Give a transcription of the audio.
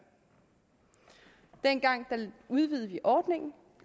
dengang udvidede vi ordningen